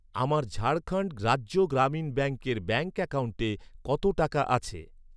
আমার ঝাড়খণ্ড রাজ্য গ্রামীণ ব্যাঙ্কের ব্যাঙ্ক অ্যাকাউন্টে কত টাকা আছে?